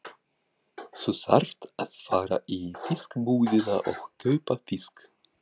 Þú þarft að fara í fiskbúðina og kaupa fisk.